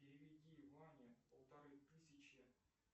переведи маме полторы тысячи